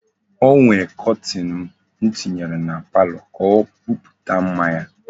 E nwere kọtin m tinyere a palọ ka o buputa mma ya.